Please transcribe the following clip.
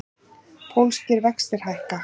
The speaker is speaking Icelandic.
Pólskir vextir hækka